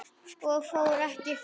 Ég fór ekki fram.